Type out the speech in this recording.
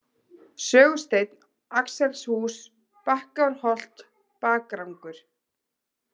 Sögusteinn, Axelshús, Bakkárholt, Bakrangur